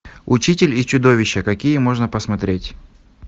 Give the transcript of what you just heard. учитель и чудовище какие можно посмотреть